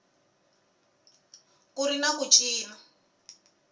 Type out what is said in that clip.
ku ri na ku cinca